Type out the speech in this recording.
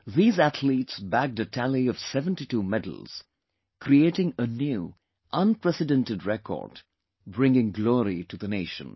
These athletes bagged a tally of 72 medals, creating a new, unprecedented record, bringing glory to the nation